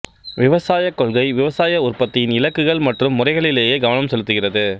விவசாயக் கொள்கை விவசாய உற்பத்தியின் இலக்குகள் மற்றும் முறைகளிலேயே கவனம் செலுத்துகிறது